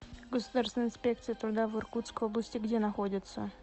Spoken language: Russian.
государственная инспекция труда в иркутской области где находится